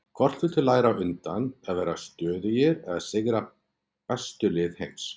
Hvort viltu læra á undan, að vera stöðugir eða sigra bestu lið heims?